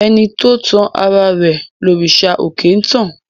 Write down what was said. Ẹni tó tan ara rẹ̀ lòrìṣà òkè ń tàn.